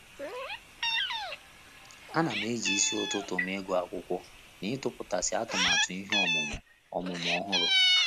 A na m e ji isi ụtụtụ m ịgụ akwụkwọ na ịtụputasị atụmatụ ihe ọmụmụ ọmụmụ ọhụrụ.